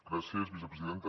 gràcies vicepresidenta